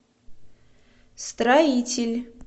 строитель